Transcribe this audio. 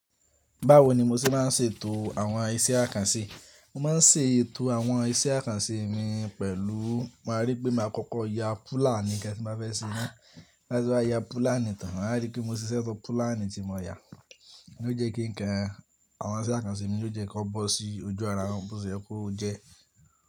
Báwo ni mo ṣe máa ń ṣètò àwọn iṣẹ́ àkànṣe? Mo máa ń ṣètò àwọn iṣẹ́ àkànṣe mi pẹ̀lú, màá rí pé màá kọ́kọ́ ya púlà ni kí ẹ sì má fẹ́ ṣe. Láti wá ya púlà nìtan, màá rí pé mo sisẹ tọ púlà ni tí mo ya, ó jẹ́ kí ǹkan àwọn iṣẹ́ àkànṣe mi ó jẹ́ kó bọ́ sí ojú ara wọn, bó ṣe ẹ kú ó jẹ́